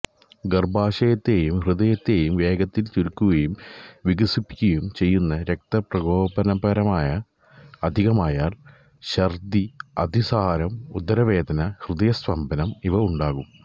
ഗർഭാശയത്തെയും ഹൃദയത്തെയും വേഗത്തിൽ ചുരുക്കുകയും വികസിപ്പിക്കുകയും ചെയ്യുന്നു രക്തപ്രകോപകരമാണ് അധികമായാൽ ഛർദി അതിസാരം ഉദരവേദന ഹൃദയസ്തംഭനം ഇവ ഉണ്ടാകും